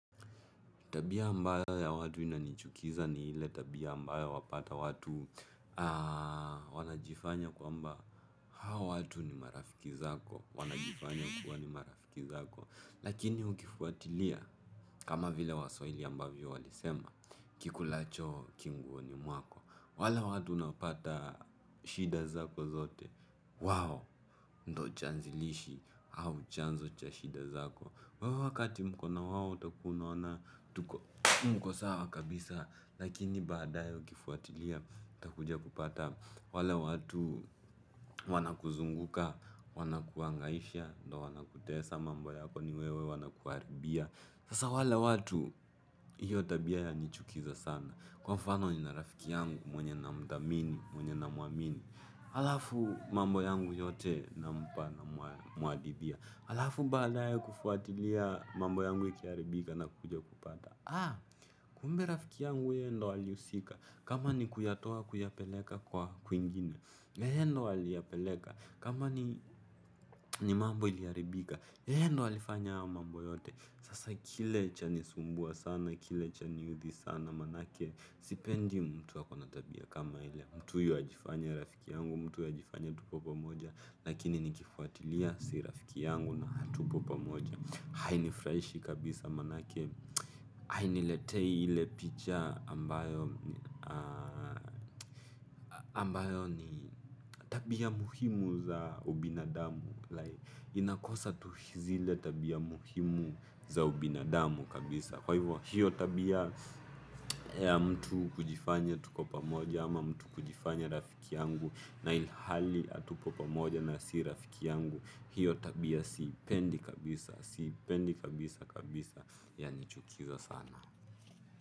Tabia ambayo ya watu inanichukiza ni ile tabia ambayo wapata watu wanajifanya kwamba hao watu ni marafiki zako wanajifanya ni marafiki zako lakini ukifuatilia kama vile waswahili ambavyo walisema kikulacho ki nguoni mwako wale watu unapata shida zako zote wao ndio chanzilishi au chanzo cha shida zako wewe wakati mkona wao utakuwa unaona mko sawa kabisa lakini baadaye ukifuatilia utakuja kupata wale watu wanakuzunguka, wanakuangaisha ndio wanakutesa mambo yako ni wewe wanakuharibia sasa wale watu hiyo tabia yanichukiza sana kwa mfano nina rafiki yangu mwenye namdamini, mwenye namwamini alafu mambo yangu yote nampa na moyo mwadilifu alafu baadaye kufuatilia mambo yangu ikiharibika nakuja kupata ahh kumbe rafiki yangu yeye ndio alihusika kama ni kuyatoa kuyapeleka kwingine yeye ndi aliyapeleka kama ni mambo iliharibika yeye ndio alifanya hayo mambo yote sasa kile chanisumbua sana kile chaniudhi sana manake sipendi mtu akona tabia kama ile mtu huyu ajifanya rafiki yangu mtu huyu ajifanya tuko pamoja lakini nikifuatilia si rafiki yangu na hatupo pamoja hainifurahishi kabisa manake hainiletei ile picha ambayo ambayo ni tabia muhimu za ubinadamu. Inakosa tu zile tabia muhimu za ubinadamu kabisa kwa hivyo hiyo tabia mtu kujifanya tuko pamoja ama mtu kujifanya rafiki yangu na ilhali hatuko pamoja na si rafiki yangu hiyo tabia siipendi kabisa, siipendi kabisa kabisa yanichukiza sana.